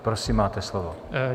Prosím, máte slovo.